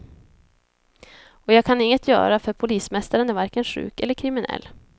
Och jag kan inget göra, för polismästaren är varken sjuk eller kriminell.